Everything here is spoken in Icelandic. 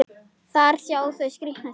Þar sjá þau skrýtna sjón.